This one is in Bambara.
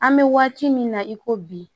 An bɛ waati min na i ko bi